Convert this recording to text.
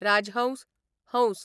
राजहंस, हंस